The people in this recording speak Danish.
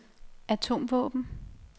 atomvåben